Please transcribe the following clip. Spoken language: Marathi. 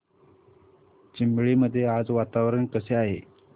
चिंबळी मध्ये आज वातावरण कसे आहे